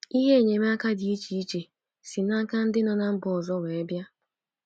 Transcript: Ihe enyemaka dị iche iche si n'aka ndị nọ na mba ọzọ were bịa.